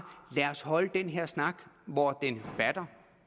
lad os holde den her snak hvor den batter